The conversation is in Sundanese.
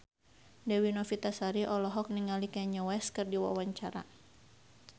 Dewi Novitasari olohok ningali Kanye West keur diwawancara